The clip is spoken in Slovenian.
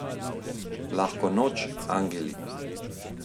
Lahko noč, angeli.